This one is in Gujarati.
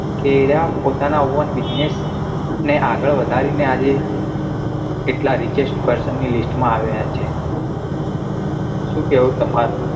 કે એ રહ્યા એ પોતાના own business ને આગળ વધારી ને આવી એકલા reachest person ની list માં આવેલા છે. શું કેવું તમાર?